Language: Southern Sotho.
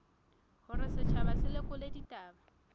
hore setjhaba se lekole ditaba